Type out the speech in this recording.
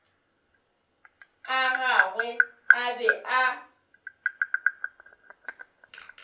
a gagwe a be a